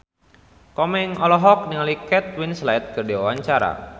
Komeng olohok ningali Kate Winslet keur diwawancara